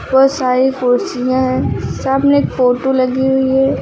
बहुत सारी कुर्सियां हैं सामने एक फोटो लगी हुई है।